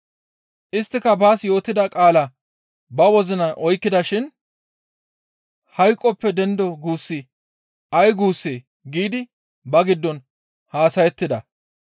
Isttika baas yootida qaala ba wozinan oykkida shin, «Hayqoppe dendo guussi ay guussee?» giidi ba giddon haasayettida.